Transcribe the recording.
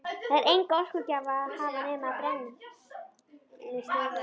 Þar er enga orkugjafa að hafa nema brennisteinsvetnið.